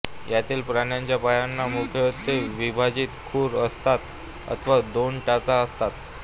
यातील प्राण्यांच्या पायांना मुख्यत्वे विभाजित खूर असतात अथवा दोन टाचा असतात